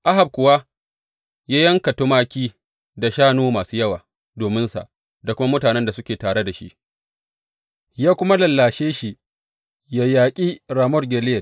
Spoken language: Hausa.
Ahab kuwa ya yanka tumaki da shanu masu yawa dominsa da kuma mutanen da suke tare da shi, ya kuma lallashe shi yă yaƙi Ramot Gileyad.